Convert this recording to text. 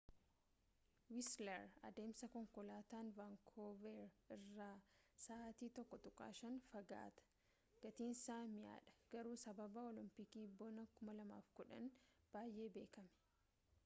wiisler adeemsa konkolaataan vaankoover irraa sa’aatii 1.5 fagaata gatiinsa mi’aadha garuu sababa olompikii bonaa 2010’n baay’ee beekame